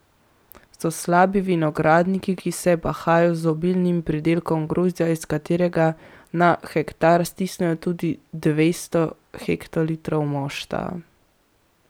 So slabi vinogradniki, ki se bahajo z obilnim pridelkom grozdja, iz katerega na hektar stisnejo tudi dvesto hektolitrov mošta.